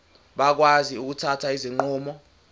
bakwazi ukuthatha izinqumo